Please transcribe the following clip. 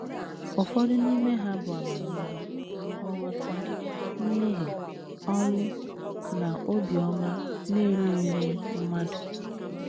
Ụfọdụ n’ime ha bụ amamihe, nghọta, mmehie, ọnwụ, na obiọma na - erughịrị mmadụ.